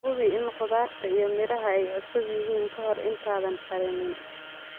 Hubi in khudaarta iyo miraha ay cusub yihiin ka hor intaadan karinin.